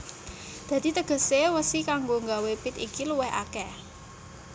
Dadi tegesé wesi kanggo nggawé pit iki luwih akèh